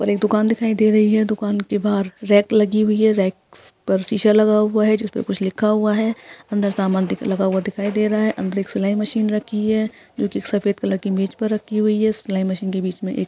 और एक दुकान दिखाई दे रही है दुकान के बाहर रैक लगी हुई है रैक्स पर शीशा लगा हुआ है जिसपे कुछ लिखा हुआ है अन्दर सामान दिख लगा हुआ दिखाई दे रहा है अन्दर एक सिलाई मशीन रखी है जोकि एक सफ़ेद कलर की मेज पर रखी हुई है सिलाई मशीन के बीच में एक --